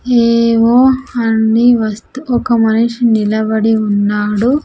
ఎవో అన్ని వస్తూ ఒక మనిషి నిలబడి ఉన్నాడు.